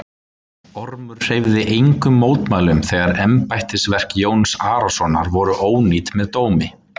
Ormur hreyfði engum mótmælum þegar embættisverk Jóns Arasonar voru ónýtt með dómi.